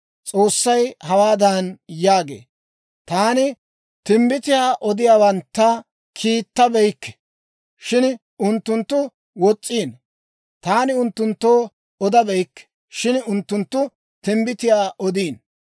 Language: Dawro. S'oossay hawaadan yaagee; «Taani timbbitiyaa odiyaawantta kiittabeykke; shin unttunttu wos's'iino. Taani unttunttoo odabeykke; shin unttunttu timbbitiyaa odiino.